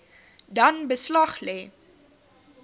dan beslag lê